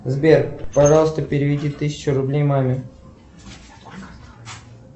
сбер пожалуйста переведи тысячу рублей маме